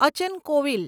Achan Kovil